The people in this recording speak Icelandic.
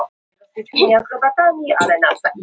Eirfinna, hvaða dagur er í dag?